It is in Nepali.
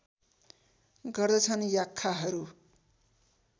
गर्दछन् याख्खाहरू